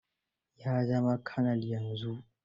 Ya zama kanal yanzu.